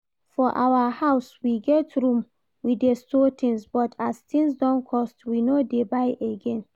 For our house we get room we dey store things, but as things don cost we no dey buy again